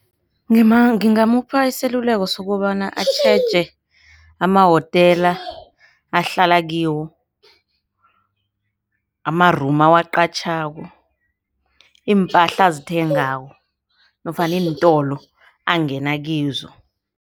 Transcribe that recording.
Ngingamupha iseluleko sokobana atjheje emahotela ahlala kiwo, amarumu awaqatjhako, iimpahla azithengako nofana iintolo angenakizo.